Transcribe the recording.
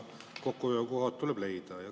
Kokkuhoiukohad tuleb leida.